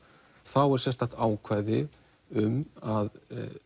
þá er sérstakt ákvæðu um að